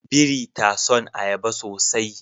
Biri ta son ayaba sosai